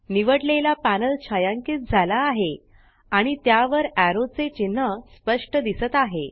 निवडलेला पॅनल छायांकित झाला आहे आणि त्यावर एरो चे चिन्ह स्पष्ट दिसत आहे